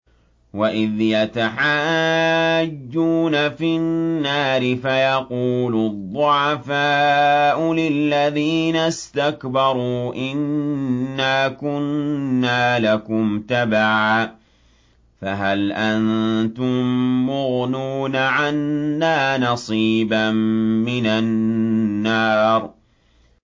وَإِذْ يَتَحَاجُّونَ فِي النَّارِ فَيَقُولُ الضُّعَفَاءُ لِلَّذِينَ اسْتَكْبَرُوا إِنَّا كُنَّا لَكُمْ تَبَعًا فَهَلْ أَنتُم مُّغْنُونَ عَنَّا نَصِيبًا مِّنَ النَّارِ